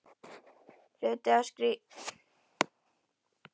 Hluti af skýringunni er trygglyndi líkama og hugar.